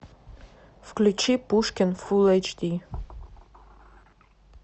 включи пушкин фул эйч ди